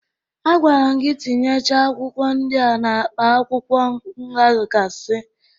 Agwara m gi tinyecha akwụkwọ ndị a n'akpa akwụkwọ nghakasi